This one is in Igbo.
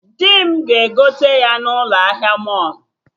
Dị m ga-egote ya na ụlọ ahịa mọlụ